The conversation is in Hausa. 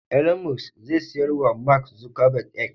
Elon musk zai siyar wa Mak Zukabag "X"